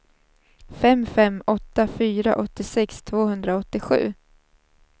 fem fem åtta fyra åttiosex tvåhundraåttiosju